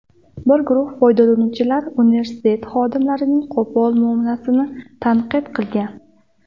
Bir guruh foydalanuvchilar universitet xodimlarining qo‘pol muomalasini tanqid qilgan.